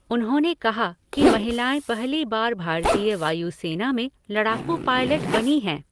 उन्होंने कहा कि महिलाएं पहली बार भारतीय वायु सेना में लड़ाकू पायलट बनी हैं।